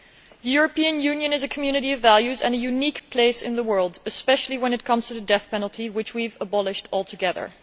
The European Union is a community of values and a unique place in the world, especially when it comes to the death penalty, which we have abolished altogether.